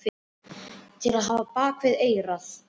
Til að hafa á bak við eyrað.